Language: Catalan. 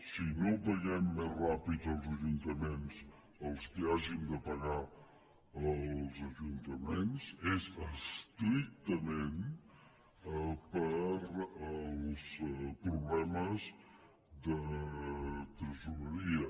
si no paguem més ràpid als ajuntaments als quals hàgim de pagar és estrictament per problemes de tresoreria